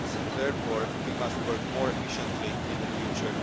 Therefore, we must work more efficiently in the future